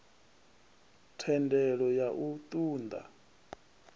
thendelo ya u ṱun ḓa